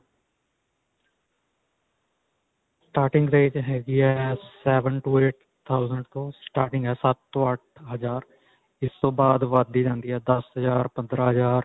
starting range ਹੈਗੀ ਹੈ seven to eight thousand ਤੋ starting ਹੈਂ ਸੱਤ ਤੋਂ ਅੱਠ ਹਜ਼ਾਰ. ਇਸ ਤੋਂ ਬਾਅਦ ਵੱਧਦੀ ਜਾਂਦੀ ਹੈਂ ਦੱਸ ਹਜ਼ਾਰ, ਪੰਦਰਾਂ ਹਜ਼ਾਰ